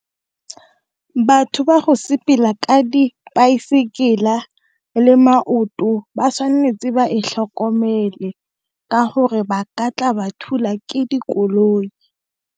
Batho ba go sepela ka dipaesekela le maoto, ba tshwanetse ba e tlhokomele ka gore ba ka tla ba thulwa ke dikoloi.